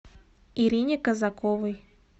ирине казаковой